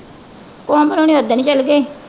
ਕੋਮਲ ਹੁਣੀ ਓਦਣ ਈ ਚਲੇ ਗਏ।